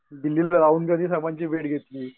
दिल्लीला राहुल साहेबांची भेट घेतली.